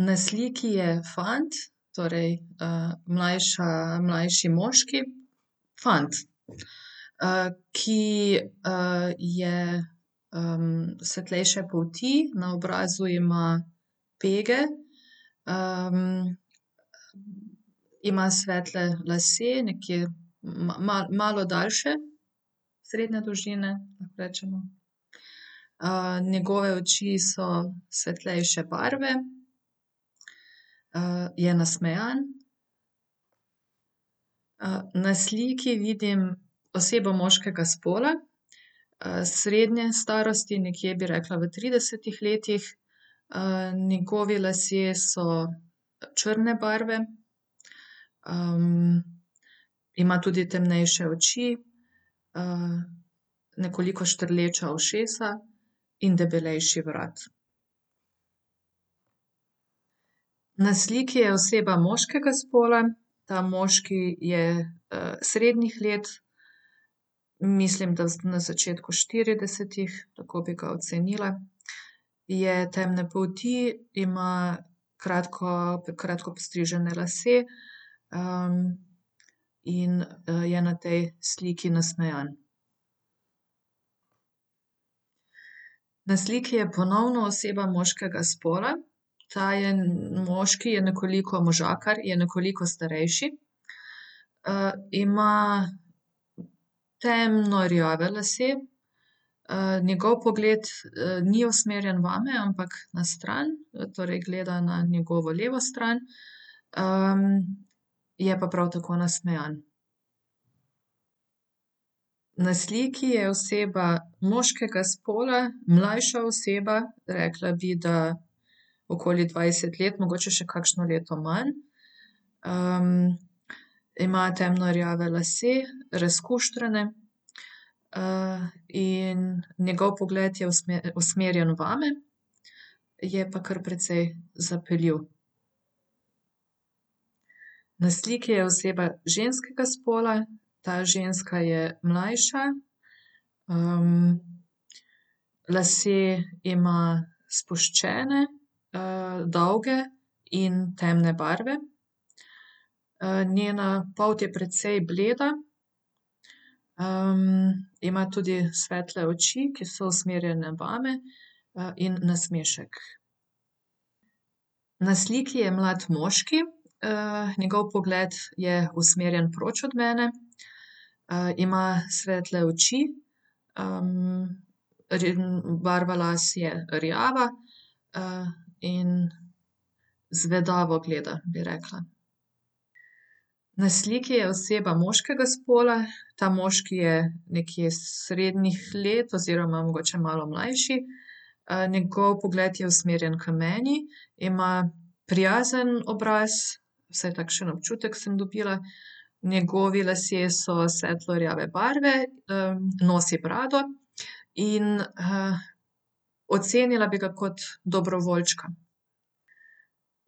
Na sliki je fant, torej, mlajša, mlajši moški, fant. ki, je, svetlejše polti, na obrazu ima pege, Ima svetle lase, nekje, malo daljše. Srednje dolžine, lahko rečemo. njegove oči so svetlejše barve. je nasmejan. na sliki vidim osebo moškega spola, srednje starosti, nekje bi rekla v tridesetih letih. njegovi lasje so, črne barve, Ima tudi temnejše oči, nekoliko štrleča ušesa in debelejši vrat. Na sliki je oseba moškega spola, ta moški je, srednjih let. Mislim, da na začetku štiridesetih, tako bi ga ocenila. Je temne polti, ima kratko, kratko postrižene lase. in, je na tej sliki nasmejan. Na sliki je ponovno oseba moškega spola. Ta je moški je nekoliko možakar, je nekoliko starejši. ima temno rjave lase. njegov pogled, ni usmerjen vame, ampak na stran, torej gleda na njegovo levo stran. je pa prav tako nasmejan. Na sliki je oseba moškega spola, mlajša oseba, rekla bi, da okoli dvajset let, mogoče še kakšno leto manj. ima temno rjave lase, razkuštrane, in njegov pogled je usmerjen vame. Je pa kar precej zapeljiv. Na sliki je oseba ženskega spola. Ta ženska je mlajša, lase ima spuščene. dolge in temne barve. njena polt je precej bleda, ima tudi svetle oči, ki so usmerjene vame, in nasmešek. Na sliki je mlad moški, njegov pogled je usmerjen proč od mene. ima svetle oči, barva las je rjava. in zvedavo gleda, bi rekla. Na sliki je oseba moškega spola, ta moški je nekje srednjih let oziroma mogoče malo mlajši. njegov pogled je usmerjen k meni. Ima prijazen obraz. Vsaj takšen občutek sem dobila. Njegovi lasje so svetlo rjave barve, nosi brado. In, ocenila bi ga kot dobrovoljčka.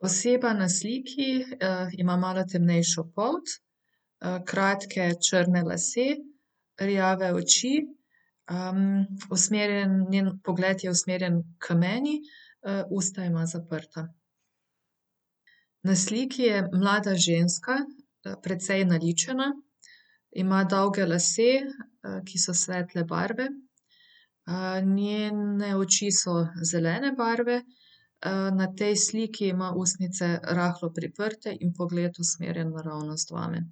Oseba na sliki, ima malo temnejšo polt. kratke črne lase, rjave oči, usmerjen, njen pogled je usmerjen k meni. usta ima zaprta. Na sliki je mlada ženska, precej naličena, ima dolge lase, ki so svetle barve. njene oči so zelene barve, na tej sliki ima ustnice rahlo priprte in pogled usmerjen naravnost vame.